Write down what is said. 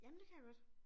Jamen det kan jeg godt